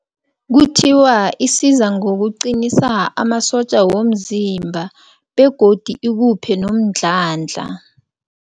Kuthiwa isiza ngokuqinisa amasotja womzimba begodi ikuphe nomdlandla.